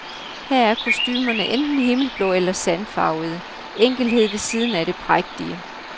Her er kostumerne enten himmelblå eller sandfarvede, enkelhed ved siden af det prægtige.